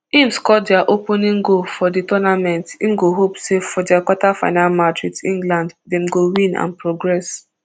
im score dia opening goal for di tournament im go hope say for dia quarterfinal match wit england dem go win and progress